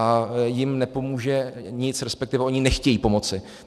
A jim nepomůže nic, respektive oni nechtějí pomoci.